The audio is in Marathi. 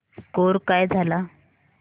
स्कोअर काय झाला